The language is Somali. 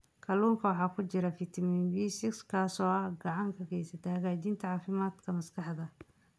Kalluunka waxaa ku jira fitamiin B6 kaas oo gacan ka geysta hagaajinta caafimaadka maskaxda.